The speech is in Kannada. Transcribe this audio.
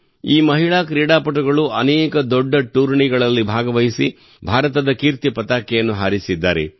ಈ ಮಹಿಳಾ ಕ್ರೀಡಾಪಟುಗಳು ಅನೇಕ ದೊಡ್ಡ ಟೂರ್ನಿಗಳಲ್ಲಿ ಭಾಗವಹಿಸಿ ಭಾರತದ ಕೀರ್ತಿ ಪತಾಕೆಯನ್ನು ಹಾರಿಸಿದ್ದಾರೆ